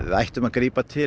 ættum að grípa til